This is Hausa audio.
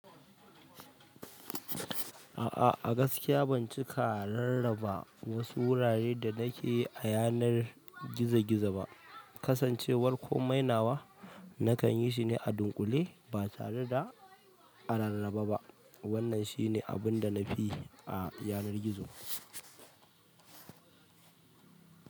A'a, a gaskiya ban cika rarraba wasu wuraren da na ke a yanar gizo gizo ba. Kasancewar komai nawa, na kan yi shine a dunƙule ba tare da a rarraba ba. Wannan shine abun da nafi yi a yanar gizo.